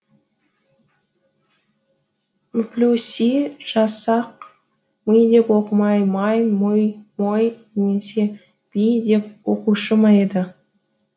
мплюси жазсақ мый деп оқымай май мұй мой немесе бій деп оқушы ма еді